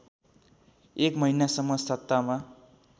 एक महिनासम्म सत्तामा